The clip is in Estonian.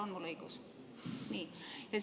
On mul õigus?